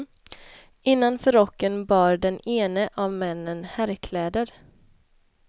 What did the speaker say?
Innanför rocken bar den ene av männen herrkläder.